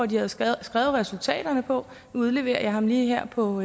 de havde skrevet resultaterne på nu udleverer jeg ham lige her på